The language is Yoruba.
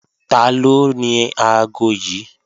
Taló ni aago yí?